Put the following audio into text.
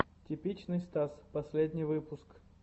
типичный стас последний выпуск